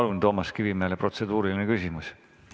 Palun, Toomas Kivimägi, protseduuriline küsimus!